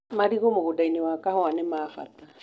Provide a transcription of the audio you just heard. Marigũ mũgũndainĩ wa kahũa nĩ ma bata